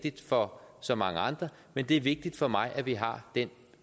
vigtigt for så mange andre men det er vigtigt for mig at vi har den